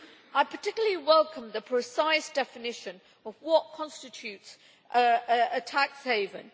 I particularly welcome the precise definition of what constitutes a tax haven.